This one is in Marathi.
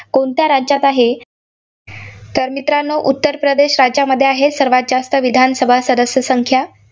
कोणत्या राज्यात आहे? तर मित्रांनो उत्तर प्रदेश राज्यामध्ये आहे, सर्वांत जास्त विधानसभा सदस्य संख्या.